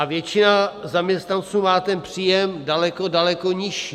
A většina zaměstnanců má ten příjem daleko, daleko nižší.